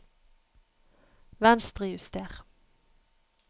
Venstrejuster